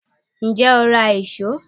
Ǹjẹ́ o ra ìṣó?